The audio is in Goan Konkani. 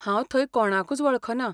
हांव थंय कोणाकूच वळखना.